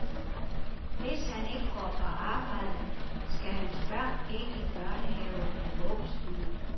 Hvis han ikke går på arbejde, skal hans børn ikke i børnehave og vuggestue.